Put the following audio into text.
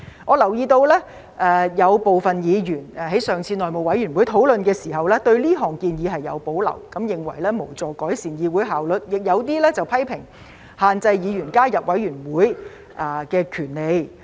我留意到有部分議員在上次內務委員會會議討論時對這項建議有保留，認為無助改善議會效率，亦有部分議員批評限制議員加入委員會的權利。